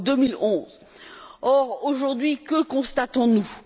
2011. Or, aujourd'hui que constatons nous?